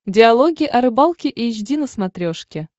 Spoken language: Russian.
диалоги о рыбалке эйч ди на смотрешке